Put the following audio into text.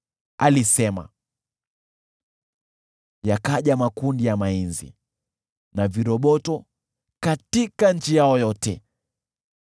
Alisema, yakaja makundi ya mainzi, na viroboto katika nchi yao yote.